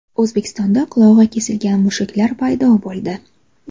O‘zbekistonda qulog‘i kesilgan mushuklar paydo bo‘ldi.